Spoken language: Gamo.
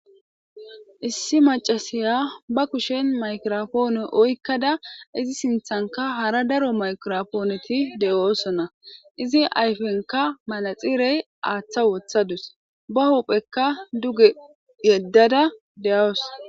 issi macasiya ba kushen makirofoone oykkada izi sinthanka hara daro makiropooneti de7oosonna izi ayfenka malaxirey aaththa wothadus ba huuphekka duge yeddada de7awus